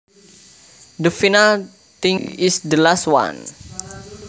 The final thing is the last one